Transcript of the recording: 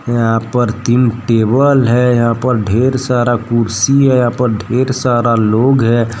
यहां पर तीन टेबल है। यहां पर ढेर सारा कुर्सी है। यहां पर ढेर सारा लोग है।